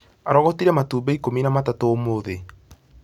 Arogotire matumbĩ ikũmi na matatũ ũmũthĩ